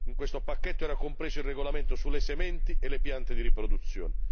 In questo pacchetto era compreso il regolamento sulle sementi e le piante di riproduzione.